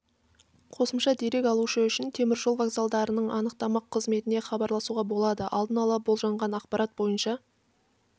қосымша дерек алушы үшін темір жол вокзалдарының анықтама қызметіне хабарласуға болады алдын ала болжанған ақпарат бойынша